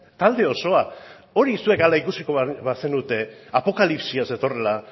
talde osoa hori zuek hala ikusiko bazenute apokalipsia zetorrela